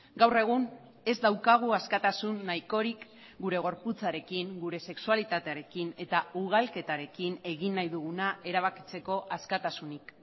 gaur egun ez daukagu askatasun nahikorik gure gorputzarekin gure sexualitatearekin eta ugalketarekin egin nahi duguna erabakitzeko askatasunik